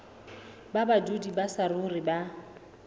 ba badudi ba saruri ba